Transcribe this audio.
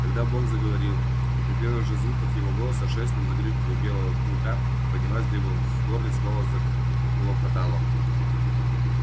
тогда бог заговорил и при первых же звуках его голоса шерсть на загривке у белого клыка поднялась дыбом в горле снова заклокотало